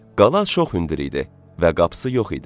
Qala çox hündür idi və qapısı yox idi.